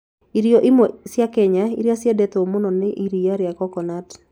Irio imwe cia Kenya iria ciendetwo mũno nĩ iria rĩa coconut.